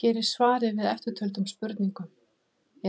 Hér er svarað eftirtöldum spurningum: